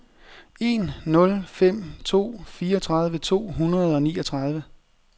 en nul fem to fireogtredive to hundrede og niogtredive